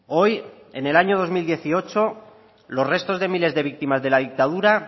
hoy en el año dos mil dieciocho los restos de miles de víctimas de la dictadura